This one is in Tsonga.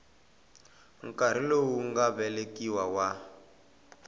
nkarhi lowu nga vekiwa wa